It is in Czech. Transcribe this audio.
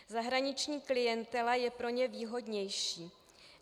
Zahraniční klientela je pro ně výhodnější.